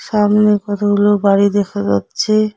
সামনে কতগুলো বাড়ি দেখা যাচ্ছে।